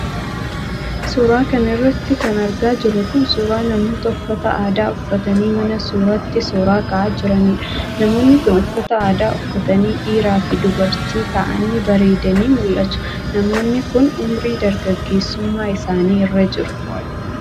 Suura kana irratti kan argaa jirru kun ,suura namoota uffata aadaa uffatanii mana suuraatti suura ka'aa jiraniidha. Namoonni kun uffata aadaa uffatanii dhiiraa fi dubartii ta'anii bareedanii mul'atu. Namoonni kun, unurii dargaggeessummaa isaanii irra jiru.